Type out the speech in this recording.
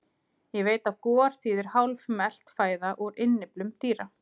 Ég veit að gor þýðir hálfmelt fæða úr innyflum dýra.